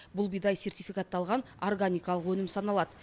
бұл бидай сертификатталған органикалық өнім саналады